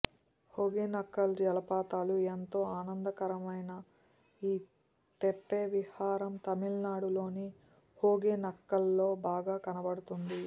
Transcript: హోగె నక్కల్ జలపాతాలు ఎంతో ఆనందకరమైన ఈ తెప్ప విహారం తమిళనాడు లోని హోగె నక్కల్లో బాగా కనపడుతుంది